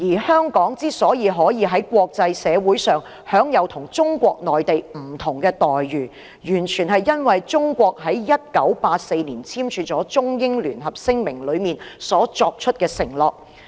香港可以在國際社會上享有與中國內地不同的待遇，完全是因為中國在1984年所簽署的《中英聯合聲明》中作出的承諾。